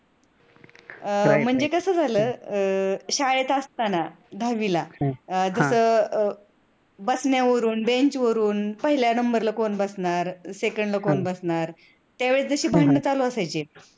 म्हणजे कस झाल अह शाळेत असताना दहावीला तिथ अह बसण्यावरून, bench वरूथ, पहिल्या number ला second कोण बसणार त्यावेळेस जशी भांडण चालू असायची